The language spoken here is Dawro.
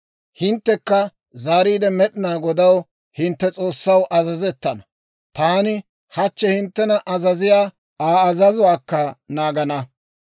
Hinttekka zaariide Med'inaa Godaw, hintte S'oossaw, azazettana; taani hachchi hinttena azaziyaa Aa azazuwaakka naagana.